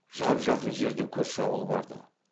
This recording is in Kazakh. жап жақын жерде көрші ауыл барды